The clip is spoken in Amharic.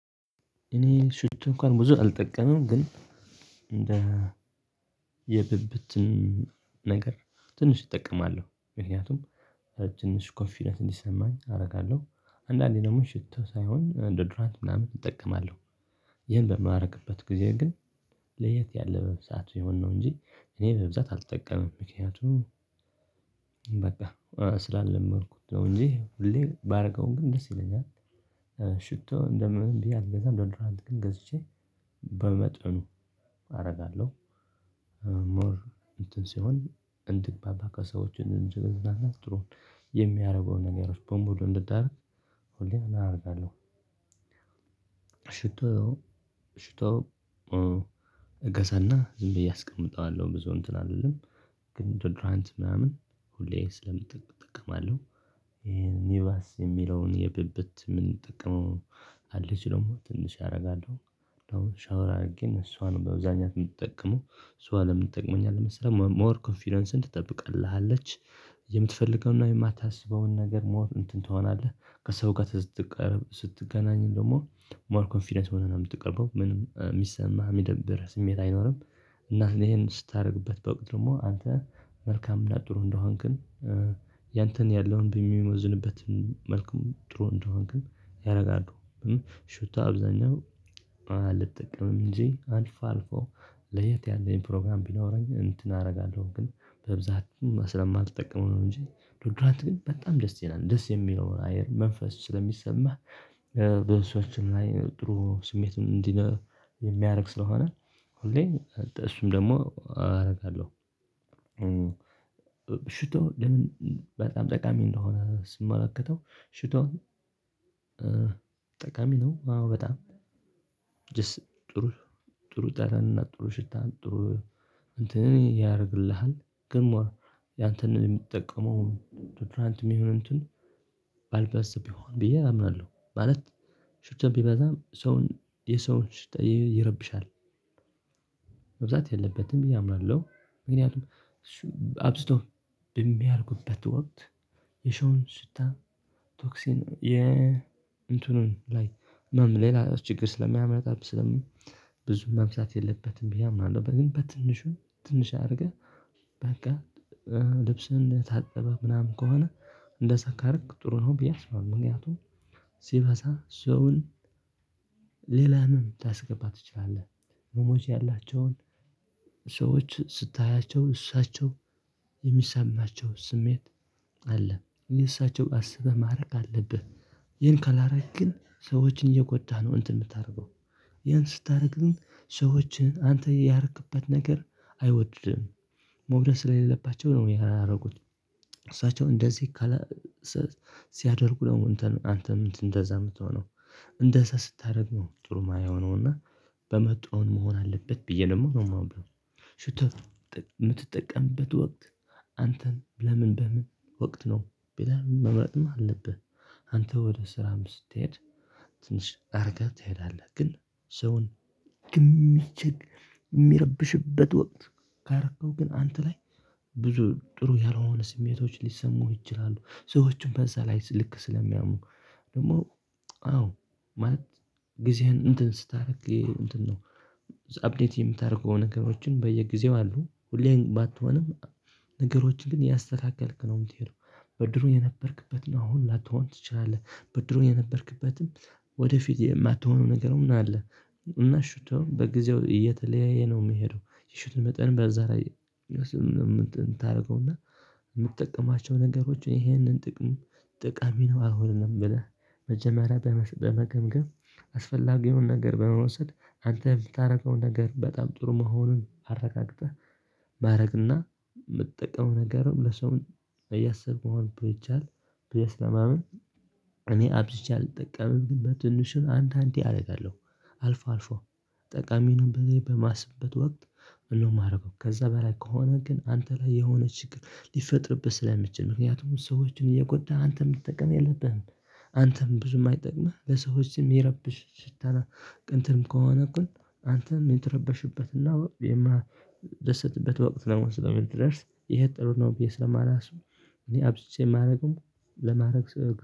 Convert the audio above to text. እኔ ሽቱ እንኳን ብዙ አልጠቀመም ግን እንደ የብብትን ትንሽ እጠቀማለሁ ምክንያቱም ትንሽ ኮንፊደንስ እንዲሰማኝ አደርጋለሁ አንዳንዴ ደግሞ ሽቶ ሳይሆን እንደ ዶድራንት ምናምን እጠቀማለሁ ይህን በማደርግበት ጊዜ ግን ለየት ያለ በብዛት የሆነ ነው እንጂ እኔ በብዛት አልጠቀምም። ምክንያቱም በቃ ስላልለመድኩት ነው እንጂ ሁሌ ባደርገውም ግን ደስ ይለኛል። ሽቶ እንደምን ብዬ አልገዛም እንደውም ዶድራንት ግን ገዝቼ በመጠኑ አደርጋለሁ ሞር እንትን ሲሆን እንድግባባ ከሰዎች እንድንገዝናና ጥሩን የሚያደርገውን ነገሮች በሙሉ እንድታደርግ ሆሊያና አደርጋለሁ። ሽቶ ሽቶ እገዘና ዝም ብዬ አስቀምጠዋለሁ። ብዙው እንትን አይደለም ግን ድራንት ምናምን ሁሌ ስለምጠቅም አለው ይሄን ይባስ የሚለውን የብብት ምን የምነጠቀመው አለች ደግሞ ትንሽ አደርጋለሁ። እንደውም ሻወር አድርጌ እሷን በብዛኛት የምትጠቀመው። እሷ ለምን ጠቅመኝአለች መሰለህ ሞር ኮንፊደንስን ትጠብቅልህሀለች። የምትፈልገውን የማታስበውን ነገር ሞር እንትን ትሆናለህ። ከሰው ጋር ስትቀርብ ስትገናኝ ደግሞ ሞር ኮንፊደንስ ሆነን አምትቀባው ምንም የሚሰማ የሚደብር ስሜት አይኖርም። እና ይሄን ስታደርግበት በውቅት ደግሞ አንተ መልካም እና ጥሩ እንደሆንክን ያንተን ያለውን በሚሞዝንበት መልኩ ጥሩ እንደሆንክ ያደርጋሉ። ሹታ አብዛኛው አልጠቀምም እንጂ አልፋ አልፎ ለየት ያለኝ ፕሮግራም ቢኖረኝ እንትን አደርጋለሁ። ግን በብዛቱም ስለማትጠቅመው ነው እንጂ ዶድራንት ግን በጣም ደስ ይለላል። ደስ የሚለውን አየር መንፈስ ስለሚሰማህ በእሷችን ላይ ጥሩ ስሜት እንዲህ የሚያደርግ ስለሆነ እሱም ደግሞ አደርጋለሁ። ሽቶ ለምን በጣም ጠቃሚ እንደሆነ ስመለከተው ሽቶን ጠቃሚ ነው። አዎ በጣም ደስ ጥሩ ጥሩ ጣረንና ጥሩ ሽታ ጥሩ እንትን ያደርግልሃል። ግን ሞር ያንተን የሚጠቀመው ዶድራንት የሚሆን እንትን ባልበስብ ይሆን ብዬ አምናለሁ። ማለት ሹትም ቢበዛም ሰውን የሰውን ሽታ ይረብሻል። መብዛት የለበትም ብዬ አምናለሁ። ምክንያቱም አብዝቶ በሚያልቁበት ወቅት ስታ ቶክሲን የ እንትኑን ላይ ምን ሌላ ችግር ስለሚያመጣ ስለምን ብዙ መብዛት የለበትም ብዬ አምናለሁ። ግን በትንሹ ትንሽ አድርገህ በቃ ልብስን ታጠበ ምናምን ከሆነ እንደ ሰካርክ ጥሩ ነው ብዬ አስባለሁ። ምክንያቱም ሰውን ሌላ ምን ታስገባ ትችላለህ። ሞሞች ያላቸውን ሰዎች ስታያቸው እሳቸው የሚሰማቸው ስሜት አለ። የእሳቸው አስበህ ማድረግ አለብህ። ይህን ካላረግክ ግን ሰዎችን እየጎዳህ ነው። እንትን የምታደርገው። ያን ስታደርግ ግን ሰዎችን አንተ ያርክበት ነገር አይወድድም። መውደስ ላይ ስለሌለባቸው ነው ያላደረጉት እሳቸው እንደዚህ ሲያደርጉ ደግሞ አንተም እንደዛ ምትሆነው እንደዛ ስታደርግ ነው። ጥሩ የማየው ነው እና በመጡውን መሆን አለበት። ብዬ ደግሞ ነው የማምነው ሽቶ የምትጠቀምበት ወቅት አንተን ለምን በምን ወቅት ነው ቢላ መምረጥም አለብህ። አንተ ወደ ስራም ስትሄድ ትንሽ አድርገህ ትሄዳለህ። ግን ሰውን የሚቸግ የሚረብሽበት ወቅት ካረከው ግን አንተ ላይ ጥሩ ያልሆነ ስሜቶች ሊሰሙ ይችላሉ። ሰዎችን በዛ ላይ ልክ ስለሚያሙ ደግሞ አዎ ማለት ጊዜህን እንትን ስታደርግ እንትን ነው። አፕዴት የምታደርገው ነገሮችን በየጊዜው አሉ። ሁሌም ባትሆንም ነገሮችን ግን ያስተካክልክ ነው የምትሄደው። በድሮ የነበርክበትን አሁን ላትሆን ትችላለህ። በድሮ የነበርክበትም ወደፊት የማትሆነው ነገር ምናምን አለ። እና ሽቶ በጊዜው እየተለያየ ነው የሚሄደው የሽት መጠን በዛ ላይ ታደርገውና የምትጠቀማቸው ነገሮችን ይህንን ጥቅም ጥቃሚ ነው አልሆነም። ብለህ መጀመሪያ በመገምገም አስፈላጊውን ነገር በመውሰድ አንተ የምታረገውን ነገር በጣም ጥሩ መሆኑን አረጋግጠህ ማድረግና የምትጠቀመው ነገር ለሰው እያሰብኩ መሆን ብሎ ይቻላል። ብለህ ስለማምን እኔ አብዝቼ አልጠቀምም። ግን በትንሹም አንዳንዴ አደርጋለሁ። አልፎ አልፎ ጠቃሚውን ብለው በማስበት ወቅት ነው የማደርገው። ከዛ በላይ ከሆነ ግን አንተ ላይ የሆነ ችግር ሊፈጥርብህ ስለሚችል ምክንያቱም ሰዎችን እየጎዳህ አንተም ልትጠቀም የለብህም። አንተም ብዙም አይጠቅምህ። በሰዎች ስም የረብሽ ሽታና ቅንትም ከሆነ እኮ አንተም የምትረበሽበትና ደስታ የማደሰትበት ወቅት ለመውሰድ ስለሚደርስ ይሄ ጥሩ ነው ብዬ ስለማላስብ እኔ አብዝቼ የማደርግም ለማድረግ